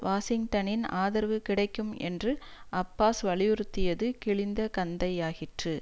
வாஷிங்டனின் ஆதரவு கிடைக்கும் என்று அப்பாஸ் வலியுறுத்தியது கிளிந்த கந்தையாகிற்று